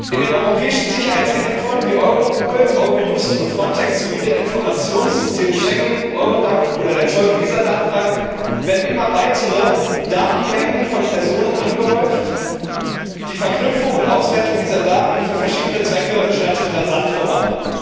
In den europäischen Sicherheitsagenturen wie Europol, Eurojust und Frontex sowie den Informationssystemen Schengen, Eurodac oder der Zoll und Visadatenbank werden immer weitere Datenmengen von Personen angehäuft, und die Verknüpfung und Auswertung dieser Daten für verschiedene Zwecke schreitet rasant voran.